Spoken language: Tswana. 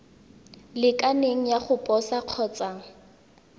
lekaneng ya go posa kgotsa